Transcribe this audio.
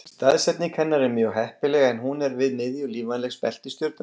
Staðsetning hennar er mjög heppileg en hún er við miðju lífvænlegs beltis stjörnunnar.